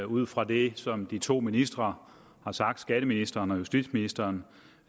ud fra det som de to ministre har sagt skatteministeren og justitsministeren